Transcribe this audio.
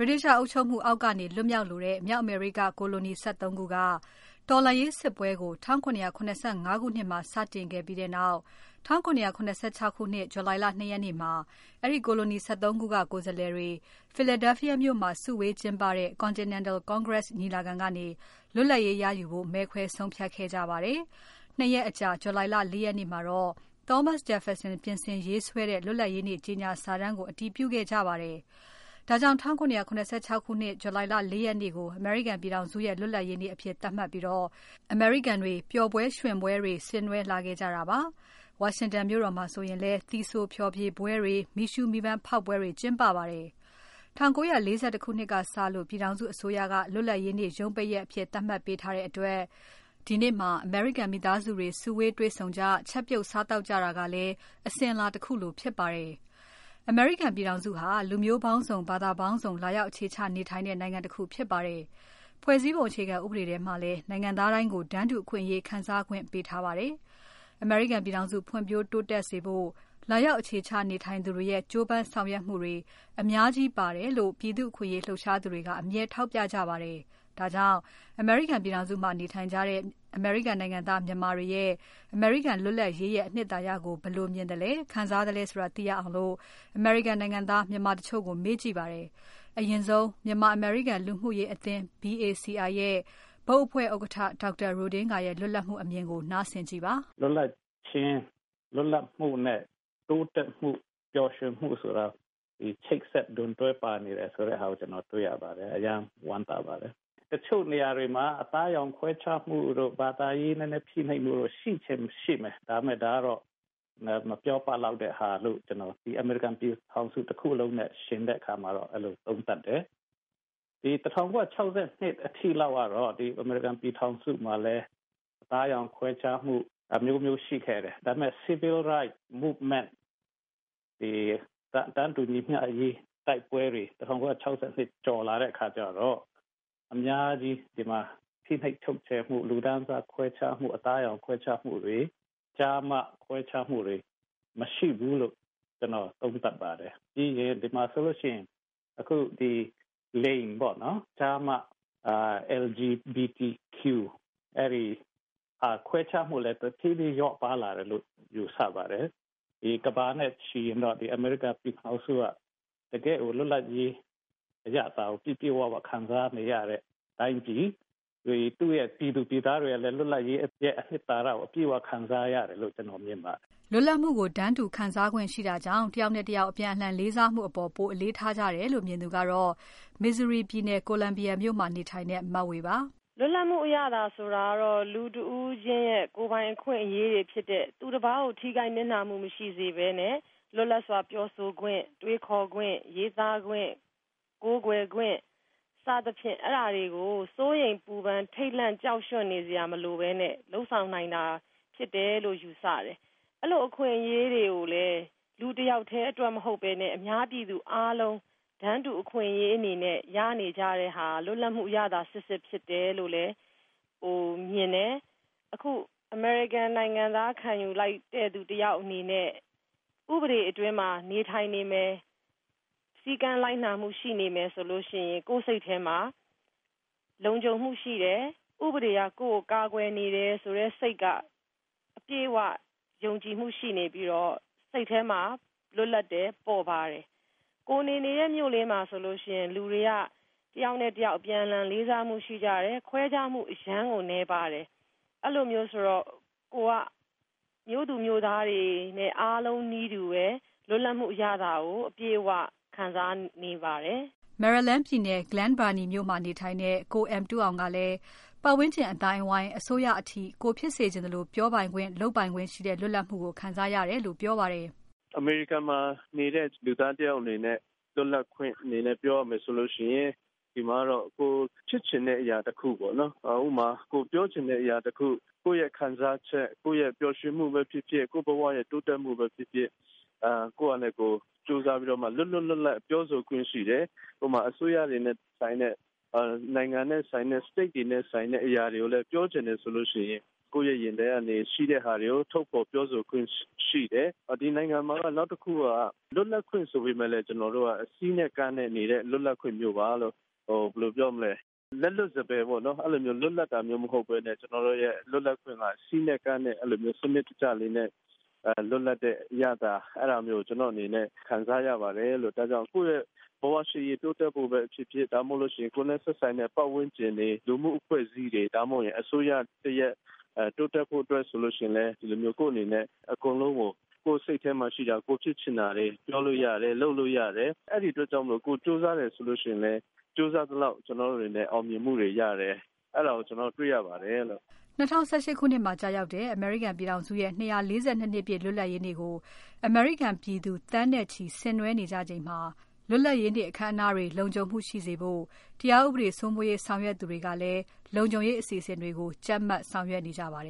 တိသျှအုပ်ချုပ်မှုအောက်ကနေ လွတ်မြောက်လိုတဲ့ မြောက်အမေရိက ကိုလိုနီ ၁၃ ခုက တော်လှန်ရေးစစ်ပွဲကို 1775 ခုနှစ်မှာ စတင်ခဲ့ပြီးနောက် 1776 ခုနှစ် July လ ၂ ရက်နေ့မှာ အဲဒီကိုလိုနီ ၁၃ ခုက ကိုယ်စားလှယ်တွေ Philadelphia မြို့မှာစုဝေးကျင်းပတဲ့ Continental Congress ညီလာခံကနေ လွတ်လပ်ရေးရယူဖို့ မဲခွဲဆုံးဖြတ်ခဲ့ကြပါတယ်။ ၂ ရက်အကြာ July လ ၄ ရက်နေ့မှာတော့ Thomas Jefferson ပြင်ဆင်ရေးဆွဲတဲ့ လွတ်လပ်ရေးနေ့ ကြေညာစာတမ်းကို အတည်ပြုခဲ့ကြပါတယ်။ ဒါကြောင့် ၁၇၇၆ ခုနှစ်ထဲက July လ ၄ ရက်နေ့ကို အမေရိကန်ပြည်ထောင်စုရဲ့ လွတ်လပ်ရေးနေ့အဖြစ် သတ်မှတ်ပြီး အမေရိကန်တွေ ပျော်ပွဲရွှင်ပွဲတွေ ဆင်နွဲလာခဲ့ကြတာပါ။ ဝါရှင်တန်မြို့တော်မှာဆိုလည်း သီဆိုဖျော်ဖြေပွဲတွေ။ မီးရှူး မီးပန်းဖေါက်ပွဲတွေ ကျင်းပပါတယ်။ ၁၉၄၁ ခုနှစ်ကစလို့ ပြည်ထောင်စုအစိုးရက လွတ်လပ်ရေးနေ့ ရုံးပိတ်ရက်အဖြစ် သတ်မှတ်ပေးထားတဲ့အတွက် ဒီနေ့မှာ အမေရိကန် မိသားစုတွေ စုဝေးတွေ့ဆုံကြ ချက်ပြုစားသောက်ကြတာကလည်း အစဉ်အလာတခုလိုဖြစ်ပါတယ်။ အမေရိကန်ပြည်ထောင်စုဟာ လူမျိုးပေါင်းစုံ။ ဘာသာပေါင်းစုံ လာရောက် အခြေချနေထိုင်တဲ့ နိုင်ငံတခုဖြစ်ပါတယ်။ ဖွဲ့စည်းပုံ အခြေခံဥပဒေထဲမှာလည်း နိုင်ငံသားတိုင်းကို တန်းတူအခွင့်အရေး ခံစားခွင့် ပေးထားတာဖြစ်ပါတယ်။ အမေရိကန်ပြည်ထောင်စု ဖွံ့ဖြိုးတိုးတက်စေဖို့ လာရောက်အခြေချ နေထိုင်သူတွေရဲ့ ကြိုးပမ်းဆောင်ရွက်ပေးမှုတွေ အများကြီး ပါတယ်လို့ ပြည်သူ့အခွင့်အရေးလှုပ်ရှားသူတွေက အမြဲထောက်ပြကြပါတယ်။ ဒါကြောင့် အမေရိကန်ပြည်ထောင်စုမှာ နေထိုင်ကြတဲ့ အမေရိကန်နိုင်ငံသား မြန်မာတွေရဲ့ အမေရိကန်လွတ်လပ်ရေးရဲ့ အနှစ်သာရကို ဘယ်လိုမြင်သလဲ ခံစားသလဲဆိုတာ သိရအောင် အမေရိကန်နိုင်ငံသား မြန်မာတချို့ကို မေးကြည့်ပါတယ်။ အရင်ဆုံး မြန်မာ အမေရိကန် လူမှုရေးအသင်း BACI ရဲ့ ဘုတ်အဖွဲ့ ဥက္ကဋ္ဌ ဒေါက်တာ Ro Dinga ရဲ့ လွတ်လပ်မှုအမြင်ကို နားဆင်ကြည့်ပါ။ "လွတ်လပ်ခြင်း၊ လွတ်လပ်မှုနဲ့ တိုးတက်မှု ပျော်ရွှင်မှုဆိုတာ ချိတ်ဆက်ဒွန်တွဲပါနေတယ်ဆိုတာကို ကျနော်တွေ့ရပါတယ်။ အရမ်းဝမ်းသာပါတယ်။ တချို့နေရာတွေမှာ အသားအရောင်ခွဲခြားမှုတို့ ၊ ဘာသာရေးဖိနှိပ်မှုတို့ ရှိချင်ရင်ရှိမယ်၊ ဒါပေမယ့် ဒါကတော့ မပြောပလောက်တဲ့ဟာ လို့ ၊ ဒီအမေရိကန်ပြည်ထောင်စုတခုလုံးနဲ့ ယှဉ်တဲ့အခါမှာတော့ အဲလိုသုံးသပ်တယ်။ ဒီ ၁၉၆၂ အထိလောက်ကတော့ ဒီအမေရိကန်ပြည်ထောင်စုမှာလည်း အသားအရောင်ခွဲခြားမှုတို့ အမျိုးမျိုးရှိခဲ့တယ်။ ဒါပေမယ့် Civil Rights Movement တွေတန်းတူညီမျှအရေး တိုက်ပွဲတွေ ၁၉၆၂ကျော်လာတဲ့အခါကျတော့ အများကြီးဒီမှာ ဖိနှိပ်ချုပ်ချယ်မှု လူတန်းစားခွဲခြားမှု ၊ အသားအရောင်ခွဲခြားမှုတွေ ကျားမခွဲခြားမှုတွေ မရှိဘူးလို့ သုံးသပ်ပါတယ်။ပြီးရင် ဒီမှာဆိုရင်အခု ကျား၊မ၊ လိင် LGBT အဲဒီခွဲခြားမှုကလည်း တဖြေးဖြေးလျော့ပါးလာတယ်လို့ ယူဆပါတယ်။ ကမ္ဘာနဲ့ချီရင်တော့ အမေရိကန်ပြည်ထောင်စုက တကယ့်လွတ်လပ်ရေးအရသာကို ပြည့်ပြည့်၀၀ခံစားနေရတဲ့ တိုင်းပြည် ၊ သူ့ပြည်သူပြည်သားတွေကလည်း လွတ်လပ်ရေးအနှစ်သာရကို အပြည့်အဝခံစားရတယ်လို့ မြင်ပါတယ်။" လွတ်လပ်မှုကို တန်းတူခံစားနိုင်ခွင့်ရှိတာကြောင့် တယောက်နဲ့တယောက် အပြန်အလှန်လေးစားမှုအပေါ် ပိုပြီးအလေးထားကြတယ်လို့ မြင်သူကတော့ Missouri ပြည်နယ် Columbia မြို့မှာနေထိုင်တဲ့ မဝေပါ။ "လွတ်လပ်မှုအရသာဆိုတာကတော့ လူတဦးချင်းရဲ့ ကိုယ်ပိုင်အခွင့်အရေးတွေ ဖြစ်တဲ့ သူတပါးကို ထိခိုက်နစ်နာမှုမရှိစေပဲနဲ့ လွတ်လပ်စွာပြောဆိုခွင့် တွေးခေါ်ခွင့် ရေးသားခွင့် ကိုးကွယ်ခွင့်တွေကို စိုးရိမ်ပူပန်ထိတ်လန့်ကြောက်နေစရာမလိုပဲနဲ့ လုပ်ဆောင်နိုင်တာဖြစ်တယ်လို့ ယူဆတယ်။ အဲလိုအခွင့်အရေးတွေကိုလည်း လူတယောက်တည်းအတွက်မဟုတ်ပဲနဲ့ အများပြည်သူအားလုံးတန်းတူအခွင့်အရေးအနေနဲ့ ရနေကြတဲ့ဟာ လွတ်လပ်မှုအရသာစစ်စစ်ဖြစ်တယ်လို့လဲ မြင်တယ်။ အခု အမေရိကန်နိုင်ငံသားအနေနဲ့ ခံယူလိုက်တဲ့သူတယောက်အနေနဲ့ ဥပဒေဘောင်အတွင်းမှာ နေထိုင်နေမယ် စည်းကမ်းလိုက်နာမှုရှိနေမယ်ဆိုရင် ကိုယ့်စိတ်ထဲမှာ လုံခြုံမှုရှိတယ်၊ ဥပဒေက ကိုယ့်ကိုကာကွယ်နေတဲ့ စိတ်က အပြည့်အဝယုံကြည်မှု ရှိနေပြီးတော့ စိတ်ထဲမှာ လွတ်လပ်တယ် ပေါ့ပါးတယ်၊ ကိုယ်နေနေတဲ့ မြို့လေးမှာဆိုရင် လူတွေက တယောက်နဲ့တယောက် အပြန်အလှန်လေးစားမှုရှိတယ် ခွဲခြားမှုအရမ်းနည်းပါးတယ် အဲလိုမျိုးဆိုတော့ ၊ ကိုယ်က မြို့သူမြို့သားတွေအားလုံးနီးပါးနီးတူ လွတ်လပ်မှုအရသာကို အပြည့်အ၀ ခံစားနေပါတယ်။" Maryland ပြည်နယ် Glen Burnie မြို့မှာ နေထိုင်တဲ့ ကို M. Tu Aung ကလည်း ပတ်ဝန်းကျင်အသိုင်းအဝိုင်း။ အစိုးရအထိ ကိုယ်ဖြစ်စေချင်သလို ပြောပိုင်ခွင့် လုပ်ပိုင်ခွင့်ရှိတဲ့ လွတ်လပ်မှုကို ခံစားရတယ်လို့ ပြောပါတယ်။ "အမေရိကန်ပြည်ထောင်စုမှာနေတဲ့ လူသားတယောက်အနေနဲ့ လွတ်လပ်ခွင့်အနေနဲ့ ပြောမယ်ဆိုရင် ဒီမှာကတော့ ကိုယ်ဖြစ်ချင်တဲ့အရာတခုပေါ့နော် ကိုယ်ပြောချင်တဲ့အရာတခု၊ ကိုယ့်ခံစားချက်၊ ပျော်ရွှင်မှုပဲဖြစ်ဖြစ် ကိုယ့်ဘဝတိုးတက်မှုပဲဖြစ်ဖြစ် ကိုယ့်ဟာနဲ့ကို ကြိုးစားပြီးတော့ လွတ်လွတ်လပ်လပ်ပြောဆိုခွင့်ရှိတယ်။ အစိုးရတွေနဲ့ဆိုင်တဲ့ နိုင်ငံနဲ့ ဆိုင်တဲ့ State တွေနဲ့ ဆိုင်တဲ့အရာကိုပြောချင်တယ်ဆိုရင် ကိုယ့်ရင်ထဲမှာရှိတဲ့ဟာတွေကို ထုတ်ဖော်ပြောဆိုခွင့်ရှိတယ်။ ဒီနိုင်ငံမှာက နောက်တခုက လွတ်လပ်ခွင့်ဆိုပေမယ့် ကျနော်တို့က စည်းနဲ့ကမ်းနဲ့ နေတဲ့လွတ်လပ်ခွင့်မျိုးပါလို့ ၊ လက်လွတ်စပယ်လွတ်လပ်တာမဟုတ်ပဲနဲ့ စည်းနဲ့ကမ်းနဲ့ စနစ်တကျလွတ်လပ်တာလို့ ကျနော့်အနေနဲ့ ခံစားရပါတယ်။ ကိုယ့်ရဲ့ ဘဝရှေ့ရေးတိုးတက်ဖို့ပဲဖြစ်ဖြစ် ကိုယ်နဲ့ သက်ဆိုက်တဲ့ ပတ်ဝန်းကျင် လူမှုအဖွဲ့အစည်းတွေ အစိုးရတရပ်တိုးတက်ကောင်းမွန်ဖို့ဆိုရင် ကိုယ့်အနေနဲ့ ကိုယ့်စိတ်ထဲမှာရှိတာ၊ ဖြစ်ချင်တာတွေကို ပြောလို့ရတယ် လုပ်လို့ရတယ် အဲဒီအတွက်ကြောင့်မို့ ကိုယ်ကြိုးစားရင်လည်း ကြိုးစားသလောက်အောင်မြင်မှုရတယ်လို့ တွေ့ရပါတယ်။" ၂၀၁၈ ခုနှစ်မှာကျရောက်တဲ့ အမေရိကန်ပြည်ထောင်စုရဲ့ 242 နှစ်ပြည့် လွတ်လပ်ရေးနေ့ကို အမေရိကန်ပြည်သူ သန်းနဲ့ချီ ဆင်နွဲကြချိန်မှာ လွတ်လပ်ရေးနေ့ အခမ်းအနားတွေ လုံခြုံမှုရှိရေးအတွက် တရားဥပဒေစိုးမိုးရေးဆောင်ရွက်သူတွေကလည်း လုံခြုံရေးအစီအစဉ်တွေကို ကြပ်မတ်ဆောင်ရွက်နေကြပါတ